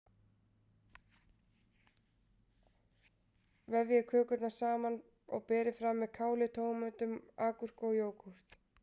Vefjið kökurnar saman og berið fram með káli, tómötum, agúrku og jógúrt.